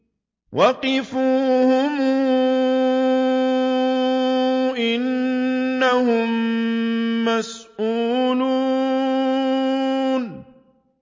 وَقِفُوهُمْ ۖ إِنَّهُم مَّسْئُولُونَ